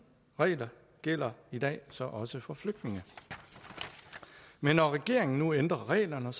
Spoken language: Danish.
regler gælder i dag så også for flygtninge men når regeringen nu ændrer reglerne